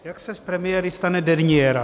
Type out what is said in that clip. Jak se z premiéry stane derniéra.